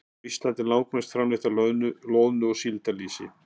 Á Íslandi er langmest framleitt af loðnu- og síldarlýsi.